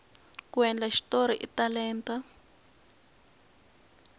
ku endla xitori i talenta